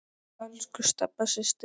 Elsku Stebba systir.